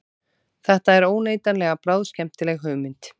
Þetta er óneitanlega bráðskemmtileg hugmynd